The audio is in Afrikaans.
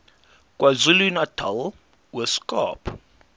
kwazulunatal ooskaap